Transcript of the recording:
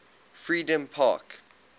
freedompark